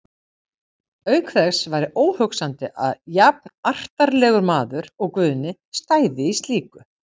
Auk þess væri óhugsandi að jafnartarlegur maður og Guðni stæði í slíku.